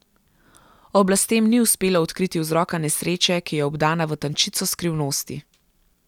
Oblastem ni uspelo odkriti vzroka nesreče, ki je obdana v tančico skrivnosti.